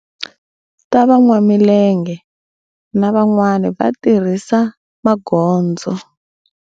Ta van'wamilenge na van'wana va tirhisa va magondzo.